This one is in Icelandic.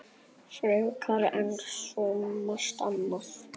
Frekar en svo margt annað.